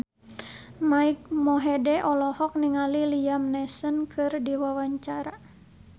Mike Mohede olohok ningali Liam Neeson keur diwawancara